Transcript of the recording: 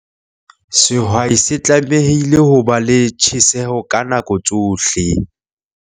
Sehwai se tlamehile ho ba le tjheseho ka nako tsohle!